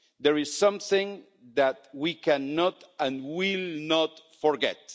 There is something that we cannot and will not forget.